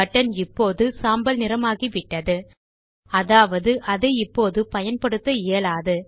button இப்போது சாம்பல் நிறமாகிவிட்டது அதாவது அதை இப்போது பயன்படுத்த இயலாது